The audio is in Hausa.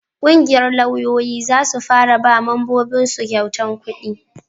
ƙungiyar lauyoyi za su fara ba mambobin su kyautan kudi